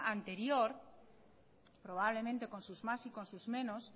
anterior probablemente con sus más y con sus menos